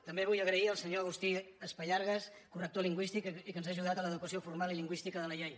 també vull agrair al senyor agustí espallargas corrector lingüístic i que ens ha ajudat a l’adequació formal i lingüística de la llei